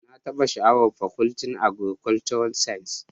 Na taba sha'awar Fakultin Agrikolcural science